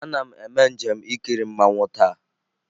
Ana m eme njem ikiri mmanwu taa.